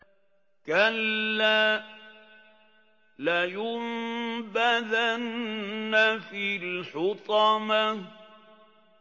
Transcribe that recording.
كَلَّا ۖ لَيُنبَذَنَّ فِي الْحُطَمَةِ